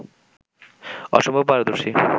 অসম্ভব পারদর্শী